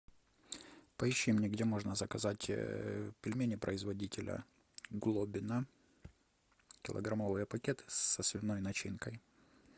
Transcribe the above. поищи мне где можно заказать пельмени производителя глобино килограммовые пакеты со свиной начинкой